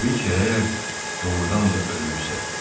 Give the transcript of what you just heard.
Təbii ki, əgər doğurdan da ölübsə.